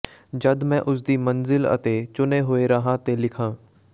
ਜਦ ਮੈ ੳਸਦੀ ਮੰਜਿਲ ਅਤੇ ਚੁਣੇ ਹੋਏ ਰਾਹਾਂ ਤੇ ਲਿਖਾਂ